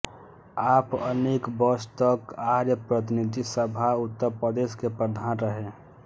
आप अनेक वर्ष तक आर्य प्रतिनिधि सभा उत्तर प्रदेश के प्रधान रहे